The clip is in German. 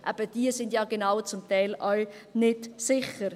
Genau diese sind ja zum Teil auch nicht sicher.